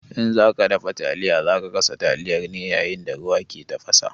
In za ka dafa taliya, za ka sa taliyar ne yayin da ruwa ke tafasa.